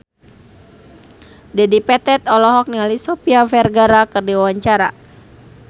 Dedi Petet olohok ningali Sofia Vergara keur diwawancara